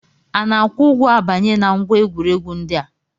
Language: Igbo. Ana-akwụ ụgwọ abanye na ngwa egwuregwu ndị a?